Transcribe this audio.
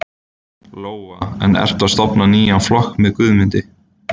Lóa: En ertu að stofna nýjan flokk með Guðmundi?